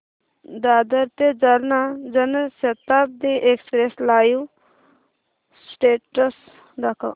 दादर ते Jalna Janshatabdi express live status दाखव